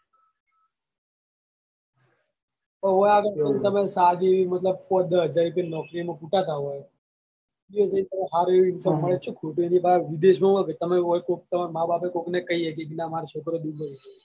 ઓય આગળ તમે સાદી મતલબ પાંચ દસ હજાર રૂપ્યાની નોકરી માં કુટાતા હોય એયો જઈને તમને સારી એવી income મળે તો શું ખોટી તમે વિદેશ માં હોય તો ઓય કોક તમારા માં બાપ કઈ શકી કે નામારો છોકરો dubai છે.